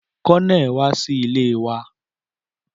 Colonel wa si ile wa